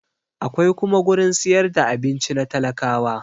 Akwai kuma gurin siyar da abinci na talakawa